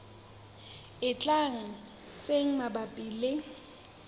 e tlang tse mabapi le